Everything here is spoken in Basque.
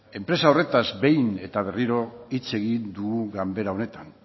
enpresa horretaz behin eta berriro hitz egin dugu ganbera honetan